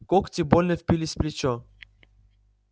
когти больно впились в плечо